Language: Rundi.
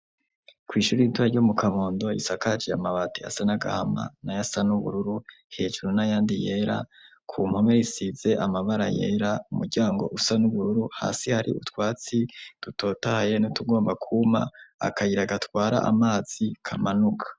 ku ishuri ritoya ryo mu kabondo, isakaje amabati asa n'agahama, n'ayasa n'ubururu, hejuru n'ayandi yera, ku mpome risize amabara yera, umuryango usa n'ubururu, hasi hari utwatsi tutotaye ni tugomba kuma, akayira gatwara amazi kamanuka.